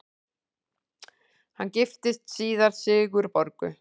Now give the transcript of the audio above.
Hann giftist síðar Sigurborgu